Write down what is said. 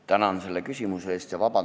Tänan selle küsimuse eest!